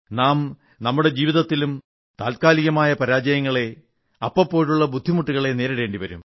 നാം നമ്മുടെ ജീവിതത്തിലും താത്കാലികമായ പരാജയങ്ങളെ അപ്പപ്പോഴുള്ള ബുദ്ധിമുട്ടുകളെ നേരിടേണ്ടി വരും